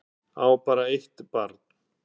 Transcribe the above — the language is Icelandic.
Á bara eitt barn